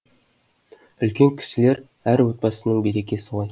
үлкен кісілер әр отбасының берекесі ғой